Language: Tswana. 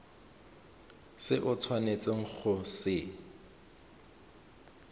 se o tshwanetseng go se